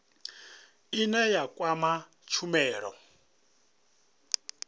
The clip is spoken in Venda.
ine ya kwama tshumelo ine